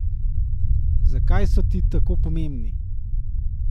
Zakaj so ti tako pomembni?